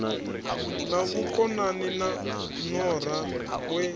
na vhukonani na nora we